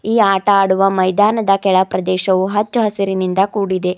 ಈ ಆಟ ಆಡುವ ಮೈದಾನದ ಕೆಳ ಪ್ರದೇಶವು ಹಚ್ಚ ಹಸಿರಿನಿಂದ ಕೂಡಿದೆ.